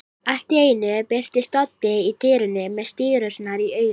Allt í einu birtist Doddi í dyrunum með stírurnar í augunum.